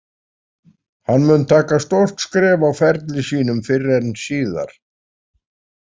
Hann mun taka stórt skref á ferli sínum fyrr en síðar.